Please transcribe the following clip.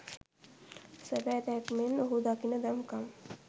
සබැ දැක්මෙන්! ඔහු දකින දම් කම්!